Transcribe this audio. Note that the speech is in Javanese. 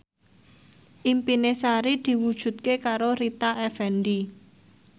impine Sari diwujudke karo Rita Effendy